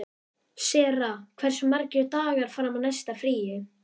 Sera, hversu margir dagar fram að næsta fríi?